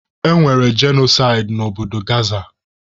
E nwere jenosaidi na obodo Gaza.